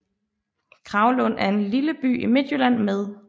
Kragelund er en lille by i Midtjylland med